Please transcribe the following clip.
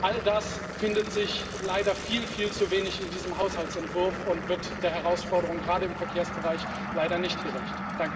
All das findet sich leider viel, viel zu wenig in diesem Haushaltsentwurf und wird der Herausforderung gerade im Verkehrsbereich leider nicht gerecht.